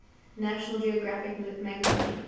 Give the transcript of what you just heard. national geographic magazine